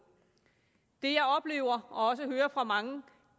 det jeg oplever og også hører fra mange